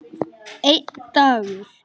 Einn dagur!